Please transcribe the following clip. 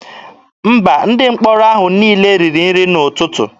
Mba, Ndị mkpọrọ ahụ niile riri nri n'ụtụtụ.